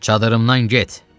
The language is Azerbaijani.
Çadıırımdan get.